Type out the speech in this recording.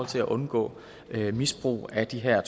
til at undgå misbrug af de her